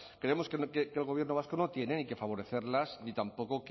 creemos que el gobierno vasco no tiene ni que favorecerlas ni tampoco